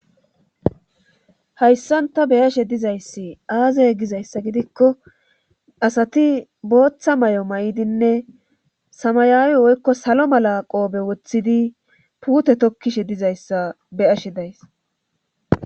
Hayssanta beyashe dizayssi aazey gizayssa gidikko asati booththa may'o may'dinne samayaawi woykko salo mala qoobe woththidi puute tokkishe dizayssa beyashe days.